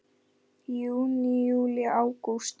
Júní Júlí Ágúst